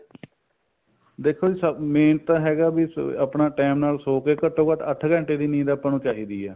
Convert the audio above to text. ਦੇਖੋ ਜੀ ਸਭ main ਤਾਂ ਹੈਗਾ ਬੀ ਆਪਣਾ time ਨਾਲ ਸੋ ਕੇ ਘਟੋ ਘੱਟ ਅੱਠ ਘੰਟੇ ਦੀ ਨੀਂਦ ਆਪਾਂ ਨੂੰ ਚਾਹੀਦੀ ਏ